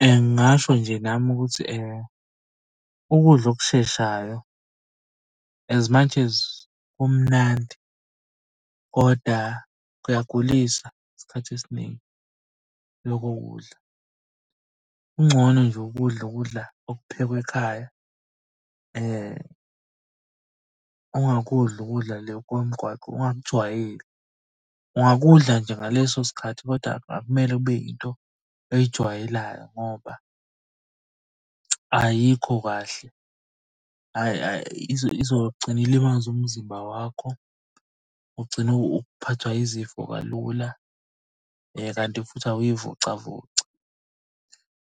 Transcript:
Ngingasho nje nami ukuthi ukudla okusheshayo as much as kumnandi, koda kuyakugulisa isikhathi esiningi lokho kudla. Kungcono nje ukudla ukudla okuphekwe ekhaya ungakudli ukudla le komgwaqo ungakujwayeli. Unganakudla nje ngaleso sikhathi kodwa akumele kube yinto oyijwayelayo ngoba ayikho kahle. Izogcina ilimaza umzimba wakho ugcine uphathwa izifo kalula, kanti futhi awuy'vocavoci.